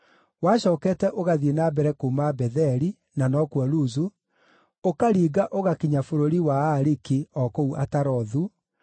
Wacookete ũgathiĩ na mbere kuuma Betheli (na nokuo Luzu), ũkaringa ũgakinya bũrũri wa Aariki o kũu Atarothu,